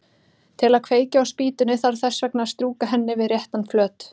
Til að kveikja á spýtunni þarf þess vegna að strjúka henni við réttan flöt.